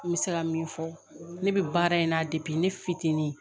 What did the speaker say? N bɛ se ka min fɔ ne bɛ baara in na ne fitinin